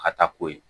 Ka taa ko ye